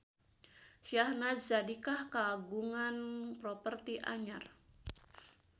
Syahnaz Sadiqah kagungan properti anyar